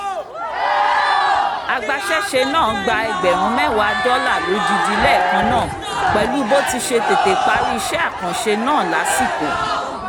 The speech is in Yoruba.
agbaṣẹ́ṣe náà gba ẹgbẹ̀rún mẹ́wàá dọ́là lódidi lẹ́ẹ̀kan náà pẹ̀lú bó ti ṣe tètè parí iṣẹ́ àkànṣe náà lásìkò